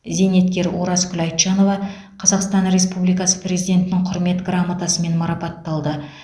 зейнеткер оразкүл айтжанова қазақстан республикасы президентінің құрмет грамотасымен марапатталды